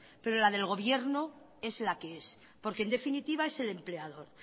pero la del gobierno es la que es porque en definitiva es el empleador